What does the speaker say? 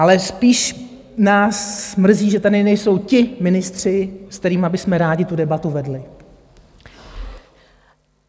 Ale spíš nás mrzí, že tady nejsou ti ministři, se kterými bychom rádi tu debatu vedli.